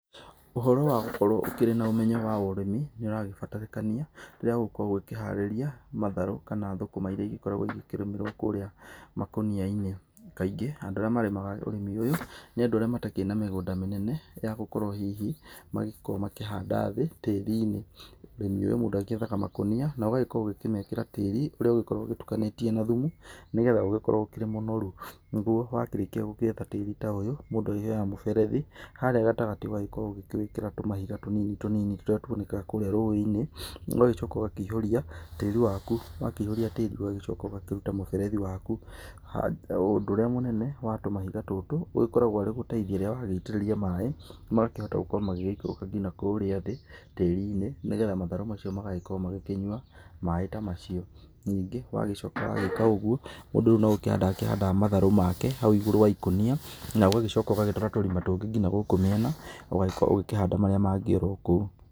Ũhoro wa gũkorwo ũkĩrĩ na ũmenyo wa ũrĩmi nĩ ũragĩbatarĩkania rĩrĩa ũgũkorwo ũkĩharĩria matharũ kana thũkũma iria gĩkoragwo ĩgĩkĩrĩmĩrwo kũrĩa makũniya-inĩ. Kaingĩ andũ arĩa marĩmaga ũrĩmi ũyũ nĩ andũ arĩa matakĩrĩ na mĩgũnda mĩnene ya gũkorwo hihi magĩkorwo makĩhanda thĩ tĩri-inĩ. Ũrĩmi ũyũ mũndũ agĩethaga makũniya na ũgagĩkorwo ũkĩmekĩra tĩri ũrĩa ũgokrwo ũgĩtukanĩtie na thumu nĩgetha ũgĩkorwo ũkĩrĩ mũnoru, niguo wakĩrĩkia gũgĩthondeka tĩri ta ũyũ mũndũ akĩoya mũberethi, harĩa gatagatĩ ũgakorwo ũgĩkĩra tũmahiga tũnini tũnini tũrĩa tuonekaga kũrĩa rũĩ-inĩ, ũgagĩcoka ũgakĩĩhũria tĩri waku, wakĩĩhũria tĩri ũgagĩcoka ũgakĩruta mũberethi waku. Ũndũ ũrĩa mũnene wa tũmahiga tũtũ ĩkoragwo arĩ gũteithia rĩrĩa wagĩitĩrĩria maĩ magakĩhota gũkorwo magĩgĩikũrũka ngina kũrĩa thĩ tĩri-inĩ nĩgetha matharũ macio magagĩkorwo magĩkĩnyua maĩ ta macio. Ningĩ wagĩcoka wagĩka ũguo mũndũ no gũkĩhanda ahandaga matharũ make hau igũrũ wa ikũnia na ũgacoka ũgatũra tũrima tũngĩ ngina gũkũ mĩena ũgagĩkorwo ũgĩ kĩhanda marĩa mangĩ orokũu.